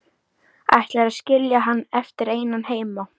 Ætlarðu að skilja hann eftir einan heima?